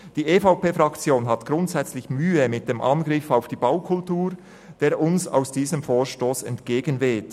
Die EVP-Fraktion hat grundsätzlich Mühe mit dem Angriff auf die Baukultur, der uns aus diesem Vorstoss entgegenweht.